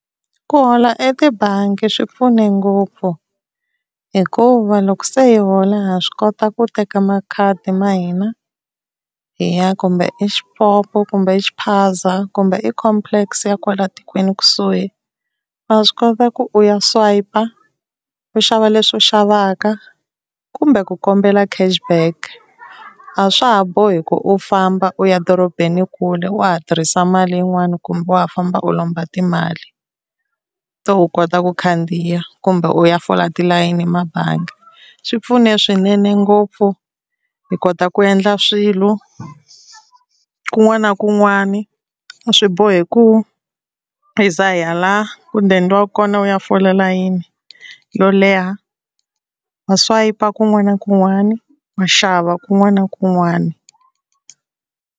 Ku hola etibangi swi pfune ngopfu, hikuva loko se hi hola ha swi kota ku teka makhadi ma hina hi ya kumbe exipopo kumbe exiphaza kumbe ecomplex ya kwala tikweni kusuhi. Wa swi kota ku u ya swipe-a u xava leswi u xavaka kumbe ku kombela cash back. A swa ha bohi ku u famba u ya dorobeni kule wa ha tirhisa mali yin'wani kumbe wa ha famba u lomba timali to u kota ku khandziya kumbe u ya fola tilayini mabangi. Swi pfune swinene ngopfu hi kota ku endla swilo, kun'wana na kun'wani a swi bohi ku hi za hi ya la ku dendiwaka kona u ya fola layini yo leha, wa swayipa kun'wana na kun'wana wa xava kun'wana na kun'wana.